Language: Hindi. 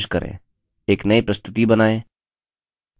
एक नयी प्रस्तुति बनाए